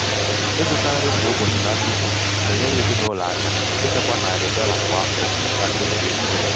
ịzụta nri kwa um ụbọchị na nnukwu na-enyere ezinụlọ aka ichekwa narị um dolla kwa um afọ na mmefu ego ụlọ.